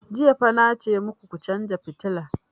Jiya fa na ce maku ku chanza fitilan!